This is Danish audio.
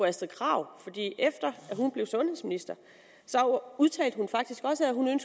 astrid krag blev sundhedsminister udtalte hun faktisk også at hun